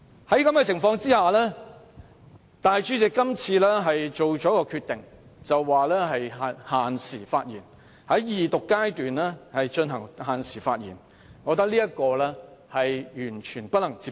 在這種情況下，立法會主席今次作出決定，限制議員在二讀辯論的發言時間，我認為完全不能接受。